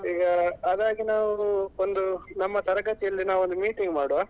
ಈಗ ಅದಾಗಿ ನಾವು ಒಂದು ನಮ್ಮ ತರಗತಿಯಲ್ಲಿಯೇ ನಾವು ಒಂದು meeting ಮಾಡುವ.